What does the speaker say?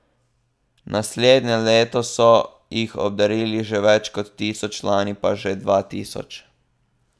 Naslednje leto so jih obdarili že več kot tisoč, lani pa že dva tisoč.